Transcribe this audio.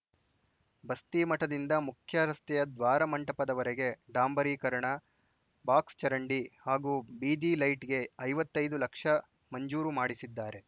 ಬಸ್ತಿಮಠದಿಂದ ಮುಖ್ಯ ರಸ್ತೆಯ ದ್ವಾರ ಮಂಟಪದವರೆಗೆ ಡಾಂಬರೀಕರಣ ಬಾಕ್ಸ್‌ ಚರಂಡಿ ಹಾಗೂ ಬೀದಿ ಲೈಟ್‌ಗೆ ಐವತ್ತೈದು ಲಕ್ಷ ಮಂಜೂರು ಮಾಡಿಸಿದ್ದಾರೆ